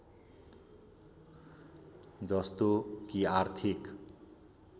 जस्तो कि आर्थिक